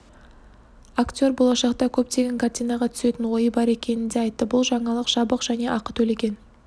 актер болашақта көптеген картинаға түсетін ойы бар екенін де айтты бұл жаңалық жабық және ақы төлеген